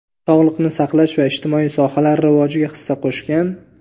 sog‘liqni saqlash va ijtimoiy sohalar rivojiga hissa qo‘shgan.